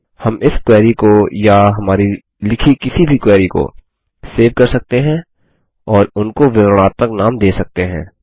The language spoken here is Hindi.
हम इस क्वेरी को या हमारी लिखी किसी भी क्वेरी को सेव कर सकते हैं और उनको विवरणात्मक नाम दे सकते हैं